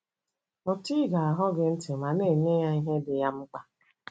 Mụta ‘ ige ahụ́ gị ntị ’ ma na - enye ya ihe dị ya mkpa.